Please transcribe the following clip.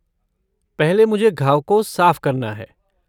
पहले, मुझे घाव को साफ़ करना है।